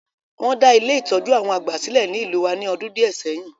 Won da Ile-itọju àwon àgbà silẹ̀ ni ìlú wa ni ọdún díẹ̀ sẹyin.